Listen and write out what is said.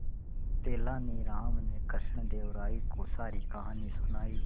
तेलानी राम ने कृष्णदेव राय को सारी कहानी सुनाई